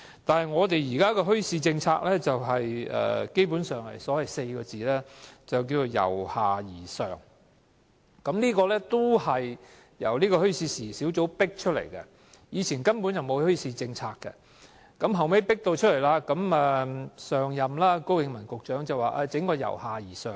但我們的現行墟市政策基本上只有4個字，就是"由下而上"，而這也是由小組委員會迫出來的，以前根本沒有墟市政策，後來有了這項政策後，前任局長高永文提出推行由下而上的政策。